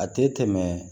A tɛ tɛmɛ